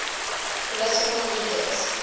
political leaders